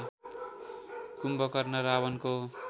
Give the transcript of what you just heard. Kumbhakarna रावणको